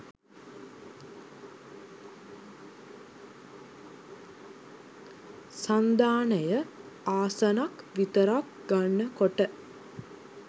සන්ධානය ආසනක් විතරක් ගන්න කොට